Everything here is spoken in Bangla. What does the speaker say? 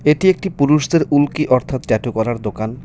এটি একটি পুরুষদের উল্কি অর্থাৎ ট্যাটু করার দোকান .